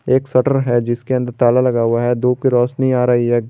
एक शटर है जिसके अंदर ताला लगा हुआ है धूप की रोशनी आ रही है।